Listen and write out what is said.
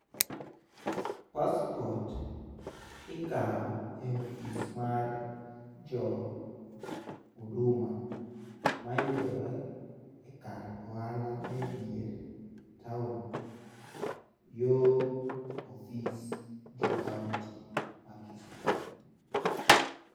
Passport ikawo e office mar jo Huduma mayudore e kar ohala ma edier town yoo office jo kaunti ma Kisumo.